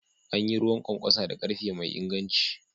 An yi ruwan kwankwasa da karfe mai inganci.